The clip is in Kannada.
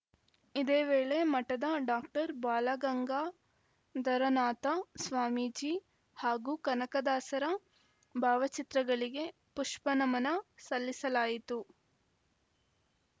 ಇದೇ ವೇಳೆ ಮಠದ ಡಾಕ್ಟರ್ ಬಾಲಗಂಗಾಧರನಾಥ ಸ್ವಾಮೀಜಿ ಹಾಗೂ ಕನಕದಾಸರ ಭಾವಚಿತ್ರಗಳಿಗೆ ಪುಷ್ಪನಮನ ಸಲ್ಲಿಸಲಾಯಿತು